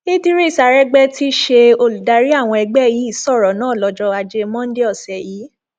ìdírís àrégbèé tí í ṣe olùdarí àwọn ẹgbẹ yìí sọrọ náà lọjọ ajé monde ọsẹ yìí